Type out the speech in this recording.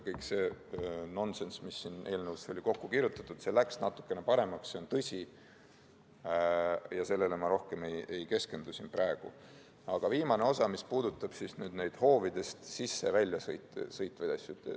Kogu see nonsenss, mis siia eelnõusse oli kokku kirjutatud, läks natukene paremaks, see on tõsi, ja sellele ma rohkem siin praegu ei keskendu, aga viimasele osale, mis puudutab neid hoovidest sisse ja välja sõitvaid asju.